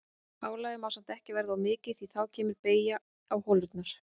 Álagið má samt ekki verða of mikið því að þá kemur beygja á holuna.